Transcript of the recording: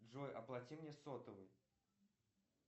джой оплати мне сотовый